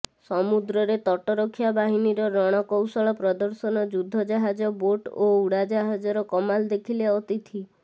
ସମୁଦ୍ରରେ ତଟରକ୍ଷା ବାହିନୀର ରଣକୌଶଳ ପ୍ରଦର୍ଶନ ଯୁଦ୍ଧଜାହାଜ ବୋଟ ଓ ଉଡାଜାହାଜର କମାଲ ଦେଖିଲେ ଅତିଥି